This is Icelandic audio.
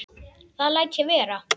Það læt ég vera